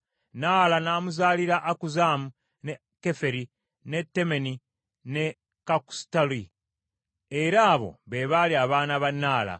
Naala n’amuzaalira Akuzzamu, ne Keferi, ne Temeni ne Kaakusutali; era abo be baali abaana ba Naala.